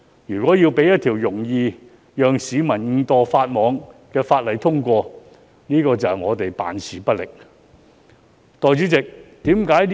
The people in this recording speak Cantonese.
如一項令市民容易誤墮法網的法例獲得通過，絕對是我們辦事不力。